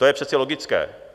To je přece logické.